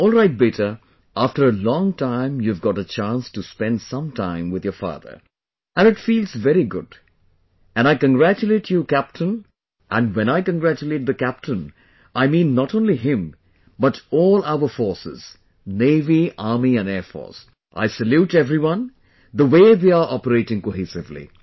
Alright Beta after a long time you have got a chance to spend some time with your father, and it feels very good and I congratulate you captain and when I congratulate the captain I mean not only him but all our Forcesnavy, army and air force, I salute everyone, the way they are operating cohesively